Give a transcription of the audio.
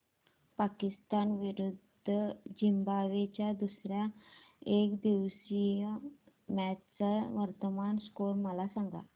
पाकिस्तान विरुद्ध झिम्बाब्वे च्या दुसर्या एकदिवसीय मॅच चा वर्तमान स्कोर मला सांगा